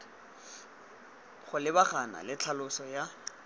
go lebagana le tlhaloso ya